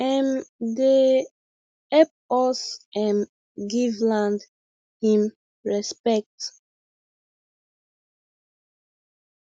um dey hep us um give land him respet